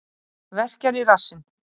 Verkjar í rassinn.